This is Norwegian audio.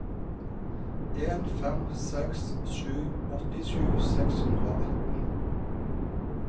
en fem seks sju åttisju seks hundre og atten